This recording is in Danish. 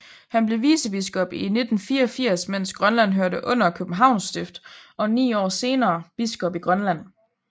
Han blev vicebiskop i 1984 mens Grønland hørte under Københavns Stift og ni år senere biskop i Grønland